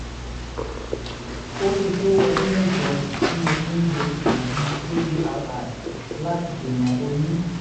ó ti tó ọdún mẹ́jọ tí mo ti ń lo oògùn apri láti dènà oyún